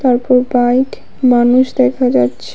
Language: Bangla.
তারপর বাইক মানুষ দেখা যাচ্ছে।